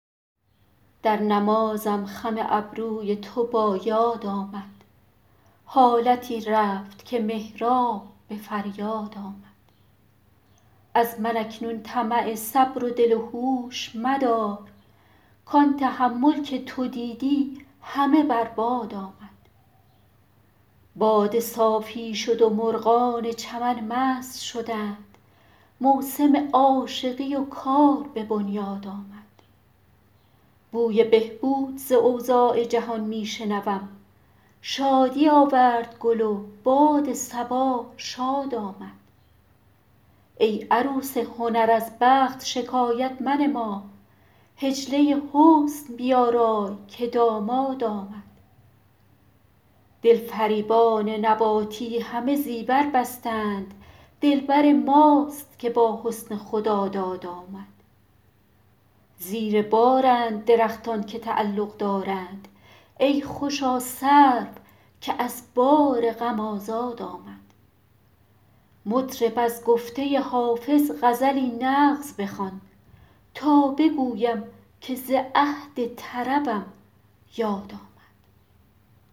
در نمازم خم ابروی تو با یاد آمد حالتی رفت که محراب به فریاد آمد از من اکنون طمع صبر و دل و هوش مدار کان تحمل که تو دیدی همه بر باد آمد باده صافی شد و مرغان چمن مست شدند موسم عاشقی و کار به بنیاد آمد بوی بهبود ز اوضاع جهان می شنوم شادی آورد گل و باد صبا شاد آمد ای عروس هنر از بخت شکایت منما حجله حسن بیارای که داماد آمد دلفریبان نباتی همه زیور بستند دلبر ماست که با حسن خداداد آمد زیر بارند درختان که تعلق دارند ای خوشا سرو که از بار غم آزاد آمد مطرب از گفته حافظ غزلی نغز بخوان تا بگویم که ز عهد طربم یاد آمد